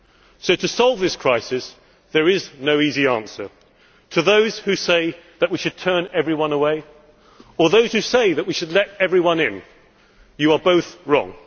So to solve this crisis there is no easy answer. To those who say that we should turn everyone away, or those who say that we should let everyone in you are both wrong.